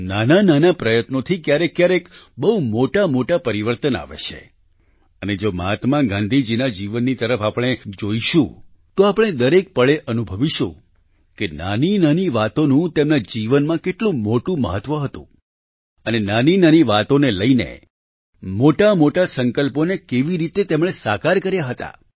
નાનાંનાનાં પ્રયત્નોથી ક્યારેક ક્યારેક બહુ મોટામોટા પરિવર્તન આવે છે અને જો મહાત્મા ગાંધીજીના જીવનની તરફ આપણે જોઈશું તો આપણે દરેક પળે અનુભવશું કે નાનીનાની વાતોનું તેમના જીવનમાં કેટલું મોટું મહત્વ હતું અને નાનીનાની વાતોને લઈને મોટામોટા સંકલ્પોને કેવી રીતે તેમણે સાકાર કર્યા હતા